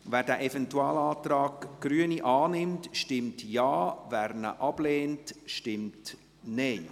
Wer diesen Eventualantrag der Grünen annimmt, stimmt Ja, wer diesen ablehnt, stimmt Nein.